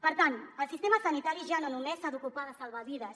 per tant el sistema sanitari ja no només s’ha d’ocupar de salvar vides